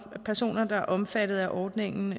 at personer der er omfattet af ordningen